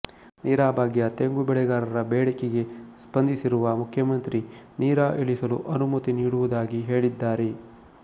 ನೀರಾ ಭಾಗ್ಯ ತೆಂಗು ಬೆಳೆಗಾರರ ಬೇಡಿಕೆಗೆ ಸ್ಪಂದಿಸಿರುವ ಮುಖ್ಯಮಂತ್ರಿ ನೀರಾ ಇಳಿಸಲು ಅನುಮತಿ ನೀಡುವುದಾಗಿ ಹೇಳಿದ್ದಾರೆ